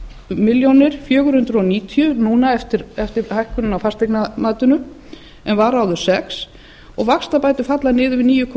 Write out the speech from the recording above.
milljónir fjögur hundruð níutíu núna eftir hækkunina á fasteignamatinu en var áður sex og vaxtabætur falla niður við níu komma